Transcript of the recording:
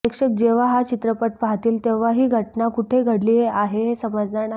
प्रेक्षक जेव्हा हा चित्रपट पाहतील तेव्हा ही घटना कुठे घडली आहे हे समजणार नाही